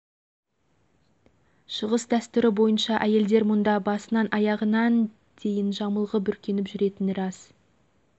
тіпті әуежайдан түсе салысымен қазақстаннан барған бикештер мен бибілер да бастарына орамал тартуына тура келді